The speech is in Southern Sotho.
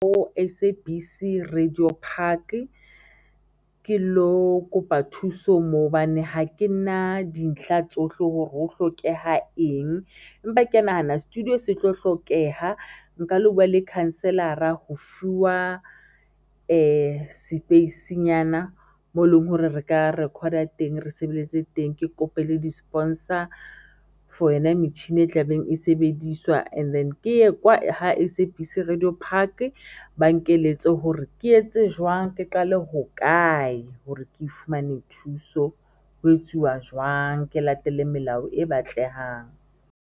Mo S_A_B_C Radio Park ke lo kopa thuso moo hobane ha ke na dintlha tsohle hore ho hlokeha eng, empa ke ya nahana studio se tlo hlokeha nka lo bua le counsellor-ra ho fuwa sepeisinyana moo leng hore re ka record-a teng, re sebeletse teng. Ke kope le di-sponsor for yona metjhininyana e tlabeng e sebediswa and then ke ye kwa ha S_A_B_C Radio Park ba nkeletse hore ke etse jwang ke qale hokae hore ke fumane thuso ho etsuwa jwang ke latele melao e batlehang.